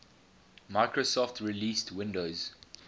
microsoft released windows